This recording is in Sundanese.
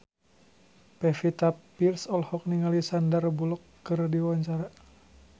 Pevita Pearce olohok ningali Sandar Bullock keur diwawancara